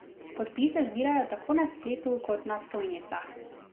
Podpise zbirajo tako na spletu kot na stojnicah.